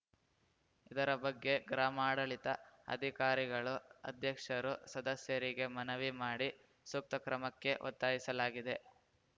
ಇದರ ಬಗ್ಗೆ ಗ್ರಾಮಾಡಳಿತ ಅಧಿಕಾರಿಗಳು ಅಧ್ಯಕ್ಷರು ಸದಸ್ಯರಿಗೆ ಮನವಿ ಮಾಡಿ ಸೂಕ್ತ ಕ್ರಮಕ್ಕೆ ಒತ್ತಾಯಿಸಲಾಗಿದೆ